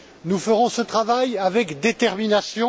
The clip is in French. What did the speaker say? Nous ferons ce travail avec détermination.